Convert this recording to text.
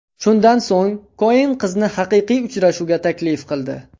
Shundan so‘ng Koen qizni haqiqiy uchrashuvga taklif qildi.